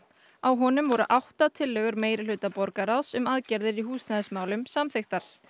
á honum voru átta tillögur meirihluta borgarráðs um aðgerðir í húsnæðismálum samþykktar